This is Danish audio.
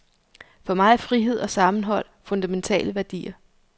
For mig er frihed og sammenhold fundamentale værdier.